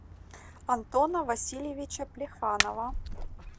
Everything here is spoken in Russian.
антона васильевича плеханова